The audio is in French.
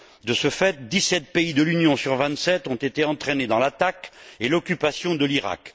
De ce fait, dix sept pays de l'Union sur vingt sept ont été entraînés dans l'attaque et l'occupation de l'Irak.